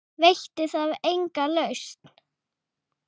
Veitti það enga lausn?